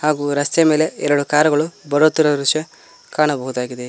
ಹಾಗು ರಸ್ತೆಯ ಮೇಲೆ ಎರಡು ಕಾರುಗಳು ಬರುತ್ತಿರುವ ದೃಶ್ಯ ಕಾಣಬಹುದಾಗಿದೆ.